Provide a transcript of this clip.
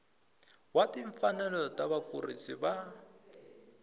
wa timfanelo ta vakurisi va